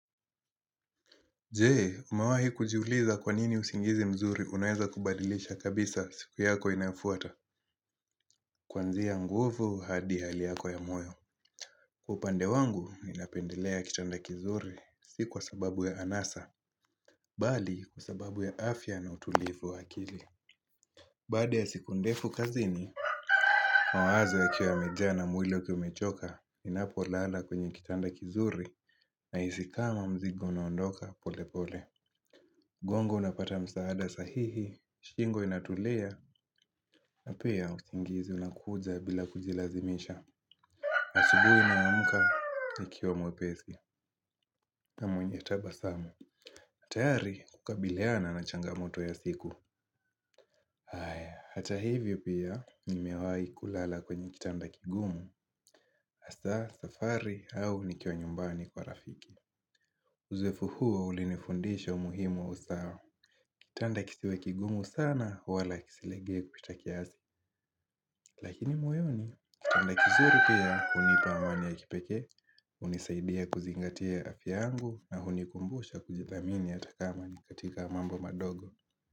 Je, umewahi kujiuliza kwa nini usingizi mzuri unaweza kubadilisha kabisa siku yako inayofuata. Kuanzia nguvu hadi hali yako ya moyo. Kwa upande wangu, mimi napendelea kitanda kizuri, si kwa sababu ya anasa. Bali, kwa sababu ya afya na utulivu wa akili. Baada ya siku ndefu kazini, mawazo yakiwa yamejaa na mwili ukiwa umechoka, ninapolala kwenye kitanda kizuri, nahisi kama mzigo unaondoka polepole. Gongo linapata msaada sahihi, shingo inatulia, na pia usingizi unakuja bila kujilazimisha asubuhi naamka, nikiwa mwepesi, na mwenye tabasamu tayari kukabiliana na changamoto ya siku haya, hata hivyo pia, nimewahi kulala kwenye kitanda kigumu Hasaa safari au nikiwa nyumbani kwa rafiki Uzoefu huu ulinifundisha umuhimu wa usawa Kitanda kisiwe kigumu sana, wala kisilegee kupita kiasi Lakini moyoni, kitanda kizuri pia, hunipa amani ya kipekee, hunisaidia kuzingatia afya yangu na kunikumbusha kujithamini hata kama ni katika mambo madogo.